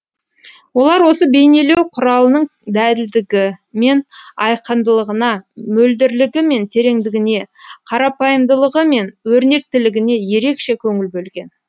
олар осы бейнелеу құралының дәлдігі мен айқындылығына мөлдірлігі мен тереңдігіне қарапайымдылығы мен өрнектілігіне ерекше көңіл бөлген